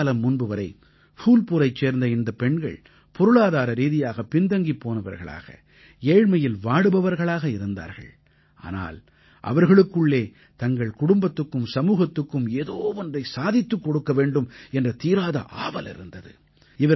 சில காலம் முன்பு வரை ஃபூல்புரைச் சேர்ந்த இந்தப் பெண்கள் பொருளாதார ரீதியாக பின் தங்கிப் போனவர்களாக ஏழ்மையில் வாடுபவர்களாக இருந்தார்கள் ஆனால் அவர்களுக்குள்ளே தங்கள் குடும்பத்துக்கும் சமூகத்துக்கும் ஏதோ ஒன்றைச் சாதித்துக் கொடுக்க வேண்டும் என்ற தீராத ஆவல் இருந்தது